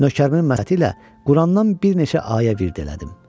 Nökərimnən məsləhəti ilə Qurandan bir neçə ayə virt elədim.